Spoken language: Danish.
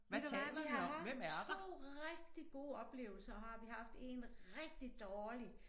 Ved du hvad vi har haft 2 rigtig gode oplevelser og har vi haft 1 rigtig dårlig